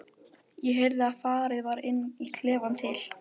Sér í lagi, þegar hann er líka á gljáburstuðum skóm.